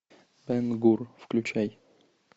бен гур включай